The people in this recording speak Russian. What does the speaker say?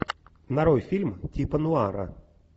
нарой фильм типа нуара